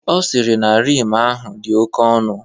Ọ sịrị na Rim ahụ dị oke ọnụ.